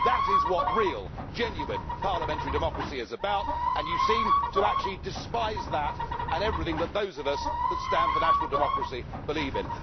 That is what real, genuine parliamentary democracy is about, and you seem to actually despise that and everything that those of us that stand for national democracy believe in.